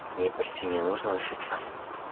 ей почти не нужно учиться